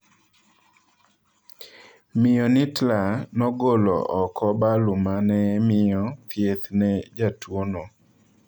Miyo Nittla nogolo oko balu mane miyo thieth ne jatuo no.